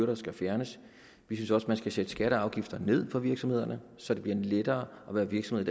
der skal fjernes vi synes også man skal sætte skatter og afgifter ned for virksomhederne så det bliver lettere at være virksomhed